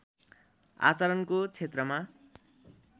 आचरणको क्षेत्रमा